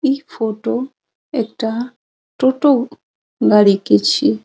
इ फोटो एकटा टोटो गाड़ी के छिए।